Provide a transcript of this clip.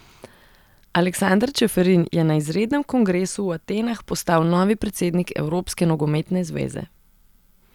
Aleksander Čeferin je na izrednem kongresu v Atenah postal novi predsednik Evropske nogometne zveze.